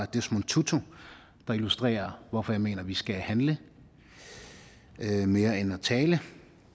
desmond tutu der illustrerer hvorfor jeg mener at vi skal handle mere end at tale